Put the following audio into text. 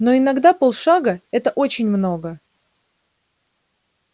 но иногда полшага это очень много